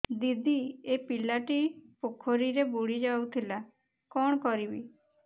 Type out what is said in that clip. ଦିଦି ଏ ପିଲାଟି ପୋଖରୀରେ ବୁଡ଼ି ଯାଉଥିଲା କଣ କରିବି